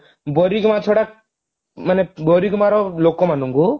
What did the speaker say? ବାରିଗୁମା ଛଡା ମାନେ ବାରିଗୁମାର ଲୋକମାନଙ୍କୁ